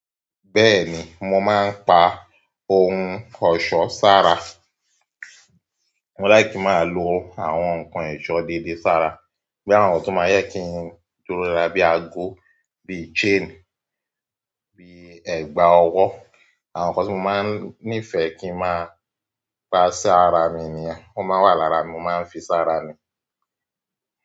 Bẹ́ẹ̀ni, mo máa ń pa ohun ọ̀ṣọ́ sára. Mo like ki máa lo àwọn nkan ẹ̀ṣọ́ dédé sára. Bí àwọn ohun tó máa jẹ kí n dúró lára bí àago, bí chain, bí ẹ̀gbà ọwọ́. Àwọn nkan tí mo máa ń nífẹ̀ kí n máa pa sí ara mi niyen o máa n wà lára mi, mo máa ń fi sara mi.